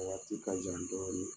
Wakati ka jan dɔɔni